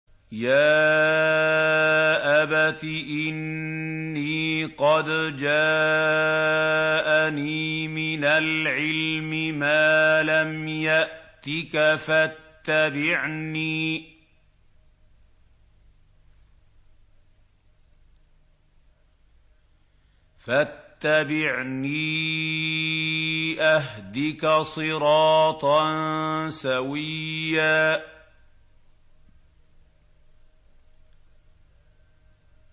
يَا أَبَتِ إِنِّي قَدْ جَاءَنِي مِنَ الْعِلْمِ مَا لَمْ يَأْتِكَ فَاتَّبِعْنِي أَهْدِكَ صِرَاطًا سَوِيًّا